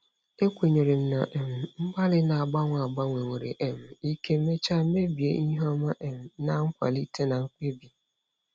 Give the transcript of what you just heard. Ekwenyere m na um mgbalị na-agbanwe agbanwe nwere um ike mechaa mebie ihu ọma um na nkwalite na mkpebi.